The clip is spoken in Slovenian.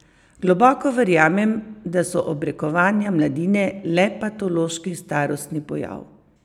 Globoko verjamem, da so obrekovanja mladine le patološki starostni pojav.